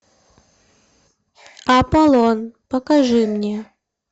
аполлон покажи мне